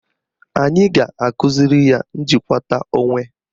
Anyị ga-akụziri ya njikwata onwe.